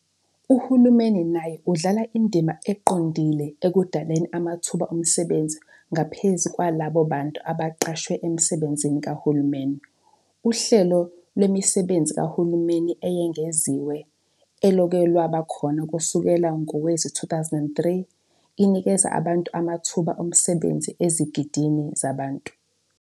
Uhulumeni naye udlala indima eqondile ekudaleni amathuba omsebenzi ngaphezu kwalabo bantu abaqashwe emisebenzini kahulumeni. Uhlelo Lwemisebenzi Kahulumeni Eyengeziwe, elokhu lwaba khona kusukela ngowezi2003, inikeze amathuba omsebenzi ezigidini zabantu.